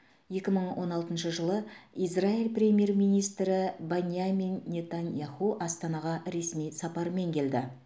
екі мың он алтыншы жылы израиль премьер министрі баньямин нетаньяху астанаға ресми сапармен келді